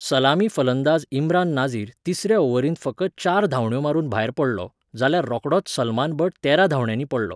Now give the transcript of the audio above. सलामी फलंदाज इम्रान नाझीर तिसऱ्या ओव्हरीत फकत चार धांवड्यो मारून भायर पडलो, जाल्यार रोखडोच सलमान बट तेरा धांवड्यांनी पडलो.